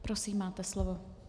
Prosím, máte slovo.